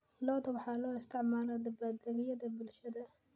Lo'da waxaa loo isticmaalaa dabaaldegyada bulshada.